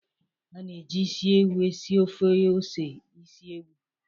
A ga-eji isi ewu esi ofe ose isi ewu.